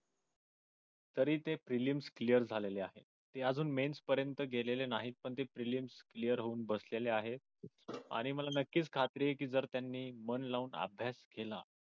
तरी ते premium clear झालेले आहेत ते अजून mains पर्यंत गेलेले नाहीत पण ते premium clear होऊन बसलेले आहेत आणि मला नक्कीच खात्री आहे कि जर त्यांनी मन लावून अभ्यास केला